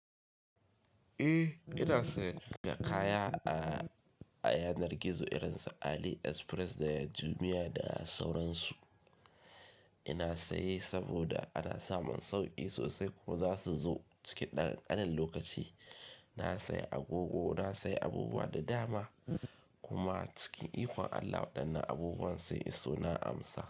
Eh, ina sayen kaya a yanar gizo irin su Ali Express da Jumia da sauransu. Ina saye saboda ana samun sauki sosai kuma za su zo cikin ɗan ɗan lokaci. Na sayi agogo, na sayi abubuwa da dama kuma cikin ikon Allah waɗannan abubuwan sai iso na amsa.